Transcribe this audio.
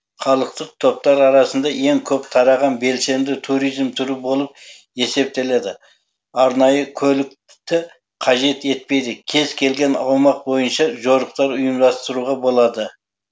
халықтық топтар арасында ең көп тараған белсенді туризм түрі болып есептеледі арнайы көлікті қажет етпейді кез келген аумақ бойынша жорықтар ұйымдастыруға болады